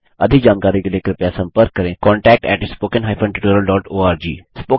अधिक जानकारी के लिए कृपया संपर्क करें contact at spoken hyphen tutorial dot ORG